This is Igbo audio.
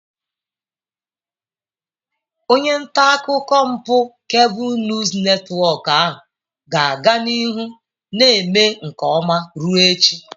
Onye nta akụkọ mpụ Kebụl Nuus Netiwọk ahụ ga-aga n'ihu na-eme nke ọma ruo echi.